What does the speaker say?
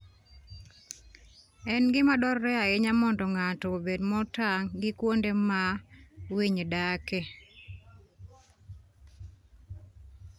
En gima dwarore ahinya mondo ng'ato obed motang' gi kuonde ma winy dake.